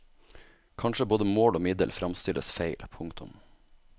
Kanskje både mål og middel fremstilles feil. punktum